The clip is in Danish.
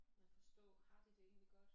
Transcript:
Men forstå har de det egentlig godt?